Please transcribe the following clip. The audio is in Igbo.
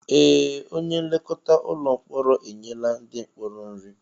Ee! Onye nlekọta ụlọ mkpọrọ enyela ndị mkpọrọ nri.